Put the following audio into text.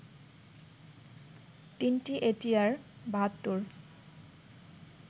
তিনটি এটিআর-৭২